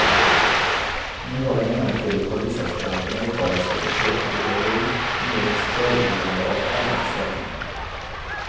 Nu har den ångerfulle polisaspiranten åtalats för försök till bedrägeri medelst föregivande av allmän ställning.